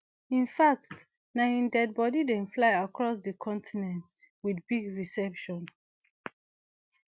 in fact na im dead body dem fly across di continent wit big reception